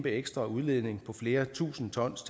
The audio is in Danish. ekstra udledning på flere tusind tons